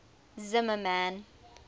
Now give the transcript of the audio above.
zimmermann